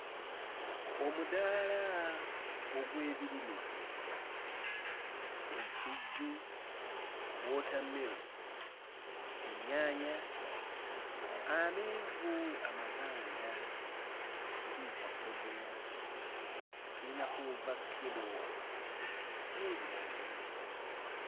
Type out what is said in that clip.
Omudaala ogw'ebirime, ensujju, wootammeroni, ennyaanya, amenvu amaganda ge tuyita bbogoya, tuyinako woovakkedo n'ebirala bingi.